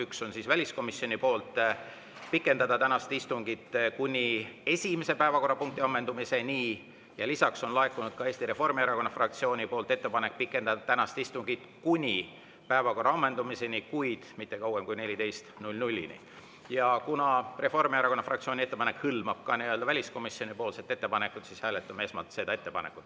Üks on väliskomisjoni ettepanek pikendada tänast istungit kuni esimese päevakorrapunkti ammendumiseni ja on Eesti Reformierakonna fraktsioonilt laekunud ettepanek pikendada tänast istungit kuni päevakorra ammendumiseni, kuid mitte kauem kui kella 14‑ni Kuna Reformierakonna fraktsiooni ettepanek hõlmab ka väliskomisjoni ettepanekut, siis hääletame esmalt seda ettepanekut.